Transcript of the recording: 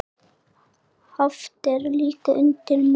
Haft er líka undir mat.